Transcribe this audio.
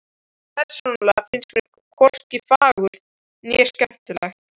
Persónulega finnst mér hvorki fagurt né skemmtilegt.